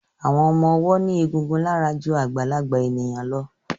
Àwọn ọmọ ọwọ́ ní egun lára ju àgbàlagbà ènìyàn lọ